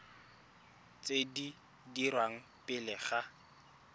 tse di dirwang pele ga